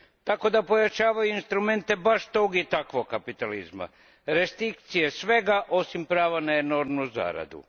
Tako da pojačavaju instrumente baš tog i takvog kapitalizma, restrikcije svega osim prava na enormnu zaradu.